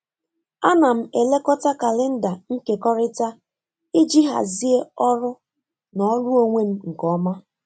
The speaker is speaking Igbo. A na m elekọta kalenda nkekọrịta iji hazie ọrụ na ọrụ onwe m nke ọma.